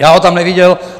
Já ho tam neviděl.